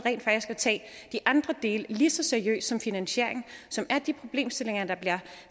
at tage de andre dele lige så seriøst som finansieringen som er de problemstillinger der bliver